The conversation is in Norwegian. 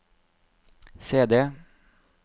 CD